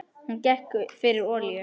Hún gekk fyrir olíu.